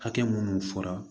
Hakɛ minnu fɔra